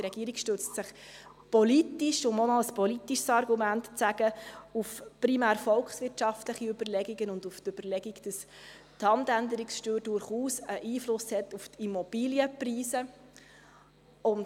Die Regierung stützt sich politisch, um auch noch ein politisches Argument anzuführen, primär auf volkswirtschaftliche Überlegungen und auf die Überlegung, dass die Handänderungssteuer durchaus einen Einfluss auf die Immobilienpreise hat.